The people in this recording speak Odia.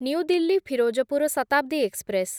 new Delhi Firozpur Shatabdi express